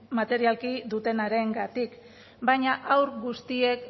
materialki dutenarengatik baina haur guztiek